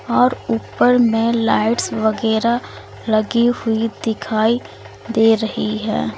और ऊपर में लाइट्स वगैरह लगी हुई दिखाई दे रही है।